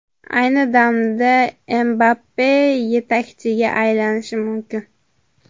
Ayni damda Mbappe yetakchiga aylanishi mumkin.